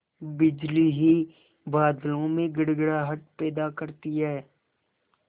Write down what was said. बिजली ही बादलों में गड़गड़ाहट पैदा करती है